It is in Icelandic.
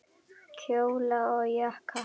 Kjóla og jakka.